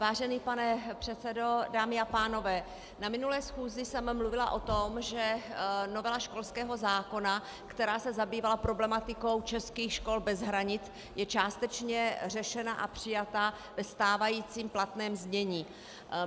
Vážený pane předsedo, dámy a pánové, na minulé schůzi jsem mluvila o tom, že novela školského zákona, která se zabývala problematikou českých škol bez hranic, je částečně řešena a přijata ve stávajícím platném znění.